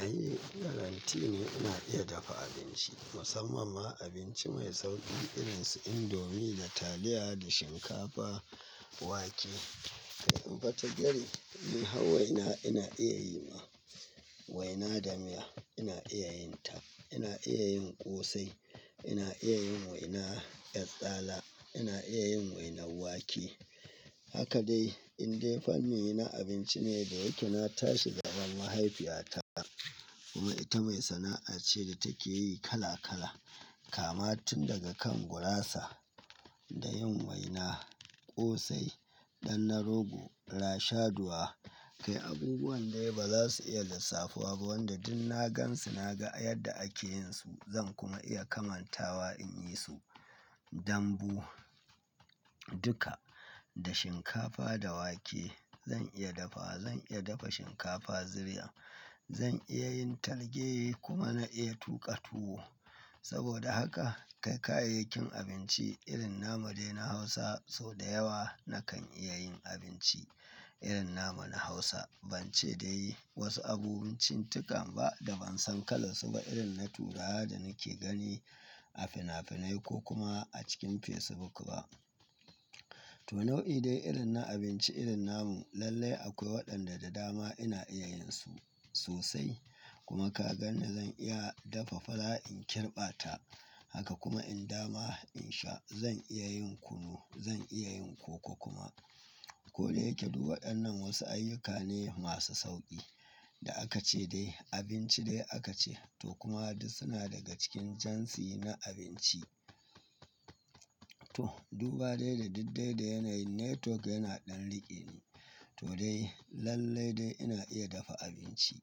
Ai guarante ne ina iya dafa abinci musamman ma abinci mai sauƙi irin su indomie da taliya da shinkafa wake. Kai in fa ta gari, hawa ina ina iya yi ma waina da miya, ina iya yin ta, ina iya yin ƙosai, ina iya yin waina 'yar tsala, ina iya yin wainan wake. Haka dai indai fanni na abinci ne da yake na tashi gaben mahaifiyata kuma ita mai sana'a ce da take yi kala kala kama tun daga kan gurasa da yin waina, ƙosai, dannar rogo, rashaduwa. Kai abubuwan dai ba za su iya lissafuwa ba wanda duk na gansu na ga yadda ake yin su zan kuma iya kamantawa in yi su. Dambu duka da shinkafa da wake zan iya dafa, zan iya dafa shinkafa ziriya, zan iya yin talge kuma na iya tuƙa tuwo. Saboda haka kai kayayyakin abinci irin namu dai na Hausa sau da yawa nakan iya yin abinci irin namu na Hausa. Ban ce dai wasu abubuwan cin tukan ba da ban san kalan su ba irin na turawa da nake gani a finafinai ko kuma a cikin Facebook ba. To nau'i dai irin na abinci irin namun lallai akwai waɗanda da dama ina iya yin su sosai kuma ka ganni zan iya dafa fara in kirɓa ta. Haka kuma in dama in sha zan iya yin kunu, zan iya yin koko kuma. Ko dai yake duk waɗannan wasu ayyuka ne masu sauƙi da aka ce dai abinci dai aka ce to kuma duk suna daga cikin jansi na abinci. To duba dai da diddai da yana yin network yana ɗan riƙe ni. To dai lallai dai ina iya dafa abinci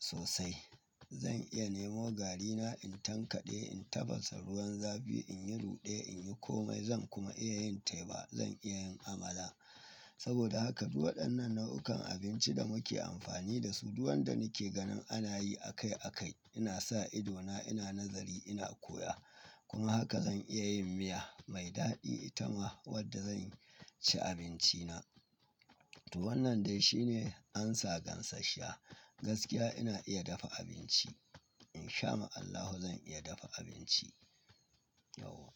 sosai. Zan iya nemo garina in tankaɗe, in tafasa ruwan zafi, in yi ruɗe, in yi komai zan kuma iya yin teba, zan iya yin amala. Saboda haka duk waɗannan nau'ukan abinci da muke amfani da su, duk wanda nake ganin ana yi a kai a kai ina sa ido na, ina nazari ina koya. Kuma haka zan iya yin miya mai daɗi ita ma wadda zan ci abinci na. To wannan dai shine amsa gansashshiya. Gaskiya ina iya dafa abinci. In sha ma Allahu zan iya dafa abinci yau.